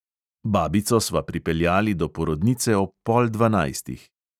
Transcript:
Babico sva pripeljali do porodnice ob pol dvanajstih.